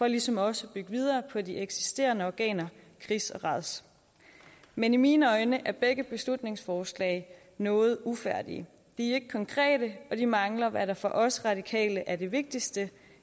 ligesom også bygger videre på de eksisterende organer kris og rads men i mine øjne er begge beslutningsforslag noget ufærdige de er ikke konkrete og de mangler hvad der for os radikale er det vigtigste